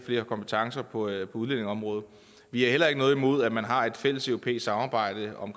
flere kompetencer på udlændingeområdet vi har heller ikke noget imod at man har et fælleseuropæisk samarbejde om